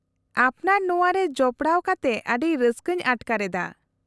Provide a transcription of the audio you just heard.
-ᱟᱯᱱᱟᱨ ᱱᱚᱶᱟ ᱨᱮ ᱡᱚᱯᱲᱟᱣ ᱠᱟᱛᱮ ᱟᱹᱰᱤ ᱨᱟᱹᱥᱠᱟᱹᱧ ᱟᱴᱠᱟᱨ ᱮᱫᱟ ᱾